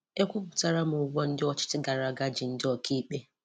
Ekwupụtara m ụgwọ ndị ọchịchị gara aga ji ndị ọkaikpe.